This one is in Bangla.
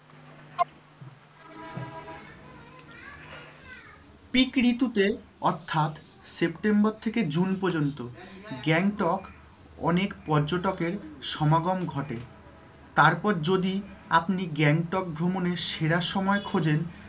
Peak ঋতুতে অর্থাৎ september থেকে june পর্যন্ত গ্যাংটক অনেক পর্যটকের সমাগম ঘটে। তারপর যদি আপনি গ্যাংটক ভ্রমণের সেরা সময় খোঁজেন,